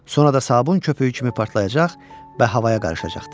Sonra da sabun köpüyü kimi partlayacaq və havaya qarışacaqdı.